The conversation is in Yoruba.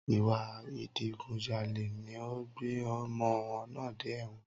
Ìwà Ìdigunjalè ni ó gbé ọmọ náà dé ẹ̀wọ̀n